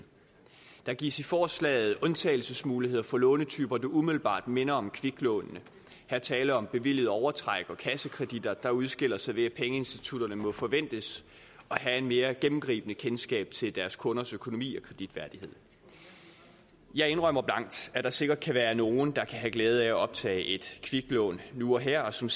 der gives i forslaget undtagelsesmuligheder for lånetyper der umiddelbart minder om kviklånene her der tale om bevilget overtræk og kassekreditter der udskiller sig ved at pengeinstitutterne må forventes at have et mere gennemgribende kendskab til deres kunders økonomi og kreditværdighed jeg indrømmer blankt at der sikkert kan være nogle der kan have glæde af at optage et kviklån nu og her og som